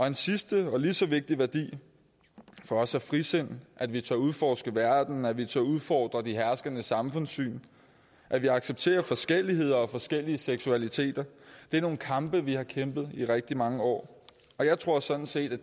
en sidste og lige så vigtig værdi for os er frisind at vi tør udforske verden at vi tør udfordre de herskende samfundssyn at vi accepterer forskelligheder og forskellige seksualiteter det er nogle kampe vi har kæmpet i rigtig mange år jeg tror sådan set at